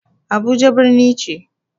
Abuja birni ce.